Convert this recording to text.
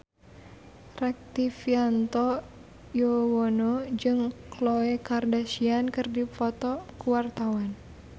Rektivianto Yoewono jeung Khloe Kardashian keur dipoto ku wartawan